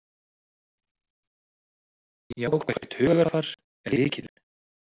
Jákvætt hugarfar er lykillinn